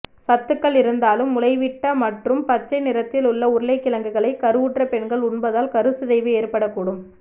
சத்துகள் இருந்தாலும் முளைவிட்ட மற்றும் பச்சை நிறத்தில் உள்ள உருளைக்கிழங்குகளை கருவுற்ற பெண்கள் உண்பதால் கருச்சிதைவு ஏற்படக் கூடும